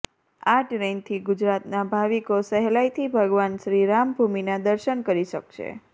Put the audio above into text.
આ ટ્રેનથી ગુજરાતનાં ભાવિકો સહેલાઈથી ભગવાન શ્રીરામભૂમિના દર્શન કરી શકશે